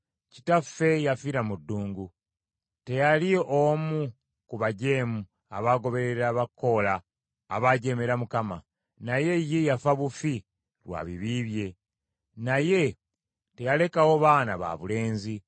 “Kitaffe yafiira mu ddungu. Teyali omu ku bajeemu abagoberezi ba Koola abaajeemera Mukama ; naye ye yafa bufi lwa bibi bye, naye teyalekawo baana babulenzi.